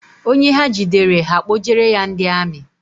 Onye ha jidere, ha akpojere ya ndị amị